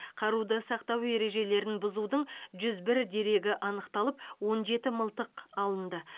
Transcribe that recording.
қаруды сақтау ережелерін бұзудың жүз бір дерегі анықталып он жеті мылтық алынды